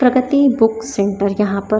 प्रगति book centre यहां पर--